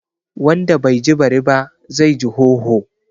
Wanda bai ji bari ba, zai ji hoho